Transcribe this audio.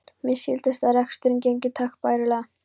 Mér skildist að reksturinn gengi takk bærilega.